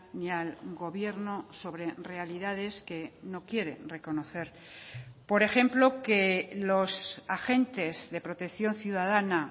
ni al gobierno sobre realidades que no quiere reconocer por ejemplo que los agentes de protección ciudadana